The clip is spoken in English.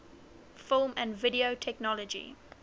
film and video technology